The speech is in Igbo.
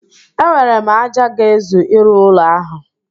Enwere m ájá ga-ezu ịrụ ụlọ ahụ